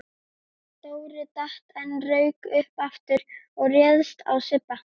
Dóri datt en rauk upp aftur og réðst á Sibba.